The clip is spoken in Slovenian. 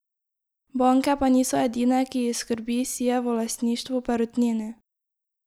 Banke pa niso edine, ki jih skrbi Sijevo lastništvo v Perutnini.